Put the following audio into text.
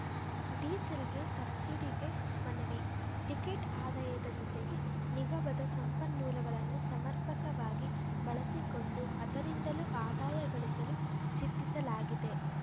ಡೀಸೆಲ್‌ಗೆ ಸಬ್ಸಿಡಿಗೆ ಮನವಿ ಟಿಕೆಟ್‌ ಆದಾಯದ ಜತೆಗೆ ನಿಗಮದ ಸಂಪನ್ಮೂಲಗಳನ್ನು ಸಮರ್ಪಕವಾಗಿ ಬಳಸಿಕೊಂಡು ಅದರಿಂದಲೂ ಆದಾಯ ಗಳಿಸಲು ಚಿಂತಿಸಲಾಗಿದೆ